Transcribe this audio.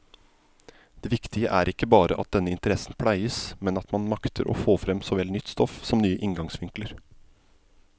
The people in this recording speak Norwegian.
Det viktige er ikke bare at denne interessen pleies, men at man makter få frem såvel nytt stoff som nye inngangsvinkler.